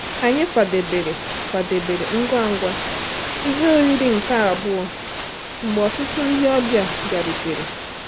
Anyị kwadebere kwadebere ngwa ngwa ihe oriri nke abụọ mgbe ọtụtụ ndị ọbịa bịarutere.